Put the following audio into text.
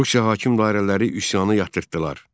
Rusiya hakim dairələri üsyanı yatırtdılar.